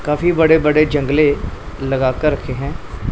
काफी बड़े बड़े जंगले लगा कर रखे हैं।